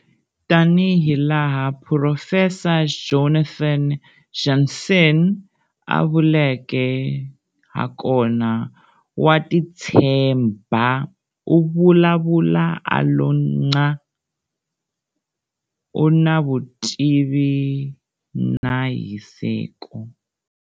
Tanihilaha Phurofesa Jonathan Jansen a vuleke hakona- Wa titshemba, u vulavula a lo nchaa, u na vutivi na hiseko.